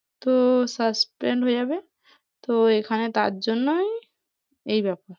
তো suspend হয়ে যাবে, তো এখানে তারজন্যই এই ব্যাপার।